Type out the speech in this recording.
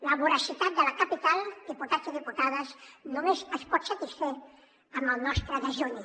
la voracitat de la capital diputats i diputades només es pot satisfer amb el nostre dejuni